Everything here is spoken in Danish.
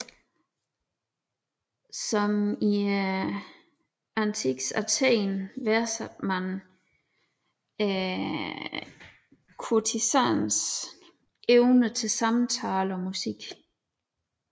Som i antikkens Athen værdsatte man kurtisanens evne til samtale og musik